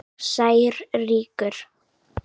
Sær rýkur.